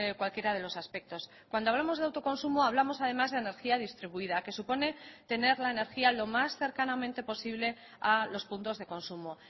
cualquiera de los aspectos cuando hablamos de autoconsumo hablamos además de energía distribuida que supone tener la energía lo más cercanamente posible a los puntos de consumo